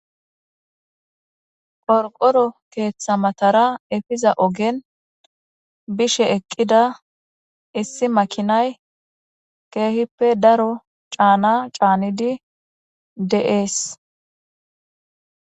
qorqoro keeththa matara efiza ogen bishe eqqida issi makinay keehippe daro caana caanidi de7ees